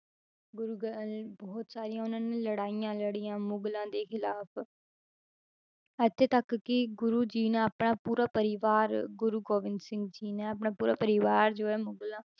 ਗੁਰੂ ਗ~ ਅਹ ਬਹੁਤ ਸਾਰੀਆਂ ਉਹਨਾਂ ਨੇ ਲੜਾਈਆਂ ਲੜੀਆਂ ਮੁਗਲਾਂ ਦੇ ਖਿਲਾਫ਼ ਇੱਥੇ ਤੱਕ ਕਿ ਗੁਰੂ ਜੀ ਨੇ ਆਪਣਾ ਪੂਰਾ ਪਰਿਵਾਰ ਗੁਰੂ ਗੋਬਿੰਦ ਸਿੰਘ ਜੀ ਨੇ ਆਪਣਾ ਪੂਰਾ ਪਰਿਵਾਰ ਜੋ ਹੈ ਮੁਗਲਾਂ